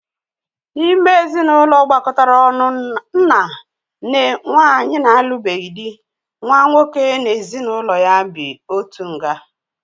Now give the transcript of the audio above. N'ime ezinụlọ gbakọtara ọnụ nna, nne, nwanyị na-alubeghi dị, nwa nwoke na-ezinụlọ ya bị otu nga.